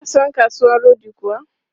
Ka san kasuwan rodi kuwa?